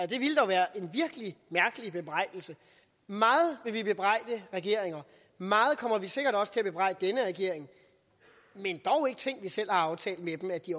det ville dog være en virkelig mærkelig bebrejdelse meget vil vi bebrejde regeringer meget kommer vi sikkert også til at bebrejde denne regering men dog ikke ting vi selv har aftalt med dem og at de